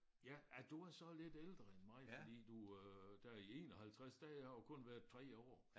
Ja ja du er så lidt ældre end mig fordi du øh der i 51 der har jeg jo kun været 3 år